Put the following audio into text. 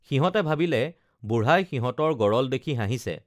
সিহঁতে ভাবিলে বুঢ়াই সিহঁতৰ গৰল দেখি হাঁহিছে